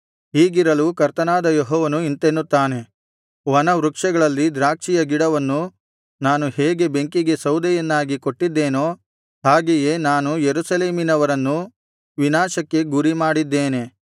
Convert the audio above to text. ಹೀಗಿರಲು ಕರ್ತನಾದ ಯೆಹೋವನು ಇಂತೆನ್ನುತ್ತಾನೆ ವನ ವೃಕ್ಷಗಳಲ್ಲಿ ದ್ರಾಕ್ಷಿಯ ಗಿಡವನ್ನು ನಾನು ಹೇಗೆ ಬೆಂಕಿಗೆ ಸೌದೆಯನ್ನಾಗಿ ಕೊಟ್ಟಿದ್ದೇನೋ ಹಾಗೆಯೇ ನಾನು ಯೆರೂಸಲೇಮಿನವರನ್ನು ವಿನಾಶಕ್ಕೆ ಗುರಿಮಾಡಿದ್ದೇನೆ